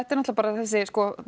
náttúrulega bara þessi